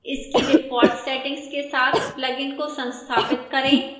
इसकी default settings के साथ plugin को संस्थापित करें